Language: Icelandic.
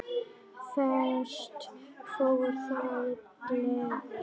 Hvert fór þá gleðin?